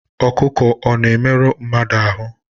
Ọkụkụ ọ̀ na-emerụ mmadụ ahụ́?